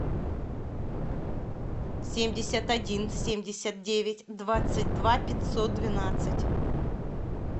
семьдесят один семьдесят девять двадцать два пятьсот двенадцать